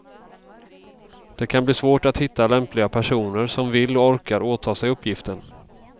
Det kan bli svårt att hitta lämpliga personer som vill och orkar åta sig uppgiften.